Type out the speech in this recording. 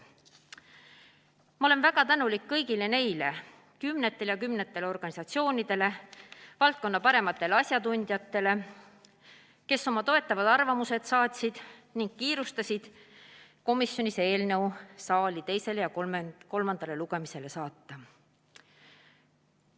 Ma olen väga tänulik kõigile neile kümnetele organisatsioonidele, valdkonna parimatele asjatundjatele, kes oma toetavad arvamused saatsid ning kiirustasid komisjoni takka eelnõu saali teisele ja kolmandale lugemisele saatma.